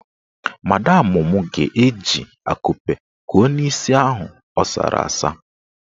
Madamụ mụ ga-eji akupe kuo n'isi ahụ asara asa.